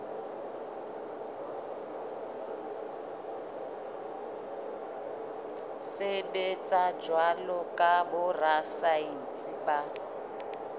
sebetsa jwalo ka borasaense ba